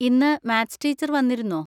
ഇന്ന് maths teacher വന്നിരുന്നോ?